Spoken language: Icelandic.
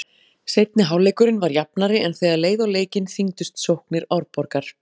Seinni hálfleikurinn var jafnari en þegar leið á leikinn þyngdust sóknir Árborgar.